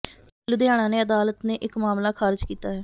ਲੁਧਿਆਣਾ ਨੇ ਅਦਾਲਤ ਨੇ ਇਕ ਮਾਮਲਾ ਖ਼ਾਰਜ ਕੀਤਾ ਹੈ